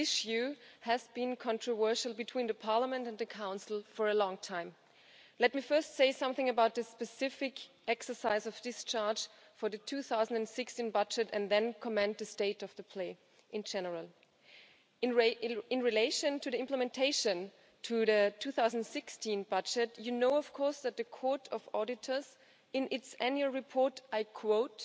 This issue has been controversial between Parliament and the Council for a long time. Let me first say something about the specific exercise of discharge for the 2016 budget and then comment on the state of play in general. In relation to the implementation of the 2016 budget, you know of course that the Court of Auditors, in its annual report, and I quote